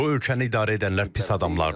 Bu ölkəni idarə edənlər pis adamlardır.